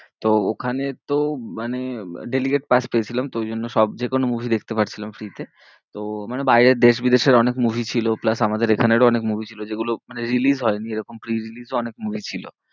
তো ওখানে তো মানে delicate pass পেয়েছিলাম তো ওই জন্য সব যেকোনো movie দেখতে পারছিলাম free তে তো মানে বাইরের দেশ বিদেশের অনেক movie ছিল plus এখানে আমাদেরও অনেক movie ছিল যেগুলো মানে release হয়নি এরকম free release ও অনেক movie ছিল।